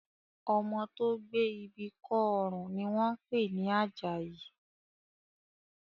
Ọmọ tó gbé ibi kọ́ ọrùn ni wọ́n ń pè ní Àjàyí